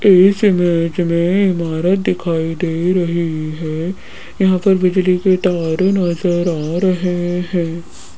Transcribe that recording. इस इमेज में इमारत दिखाई दे रही है यहां पर बिजली के तार नजर आ रहे हैं।